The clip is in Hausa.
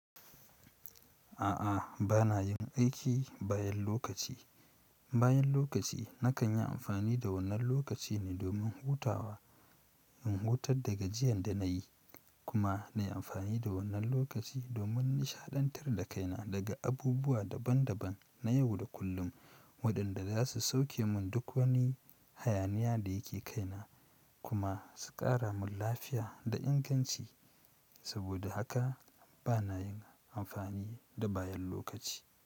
A'a, ba na yin aiki bayan lokaci. Bayan lokaci na kan yi amfani da wannan lokaci ne domin hutawa, in hutar da gajiyar da na yi, kuma na yi amfani da wannan lokaci domin nishaɗantar da kaina daga abubuwa daban daban na yau da kullum waɗanda za su sauke mun duk wani hayaniya da yake kaina kuma su ƙara mun lafiya da inganci. Saboda haka ba na yin amfani da bayan lokaci.